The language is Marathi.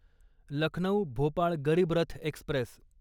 लखनौ भोपाळ गरीब रथ एक्स्प्रेस